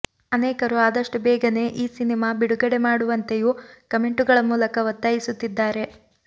ಅನೇಕರು ಆದಷ್ಟು ಬೇಗನೆ ಈ ಸಿನಿಮಾ ಬಿಡುಗಡೆ ಮಾಡುವಂತೆಯೂ ಕಮೆಂಟುಗಳ ಮೂಲಕ ಒತ್ತಾಯಿಸುತ್ತಿದ್ದಾರೆ